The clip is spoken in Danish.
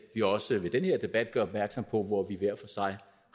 vi også ved den her debat gør opmærksom på hvor vi hver for sig